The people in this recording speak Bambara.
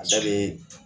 A bɛ